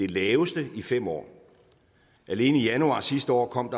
laveste i fem år alene i januar sidste år kom